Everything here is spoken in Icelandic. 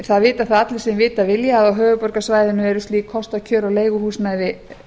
það vita það allir sem vita vilja að á höfuðborgarsvæðinu eru slík kostakjör á leiguhúsnæði